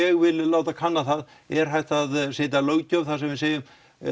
ég vil láta kanna það er hægt að setja löggjöf þar sem við segjum að